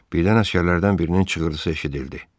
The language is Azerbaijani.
Birdən əsgərlərdən birinin çığırtısı eşidildi.